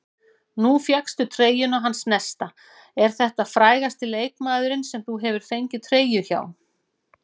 Nú fékkstu treyjuna hans Nesta, er þetta frægasti leikmaðurinn sem þú hefur fengið treyju hjá?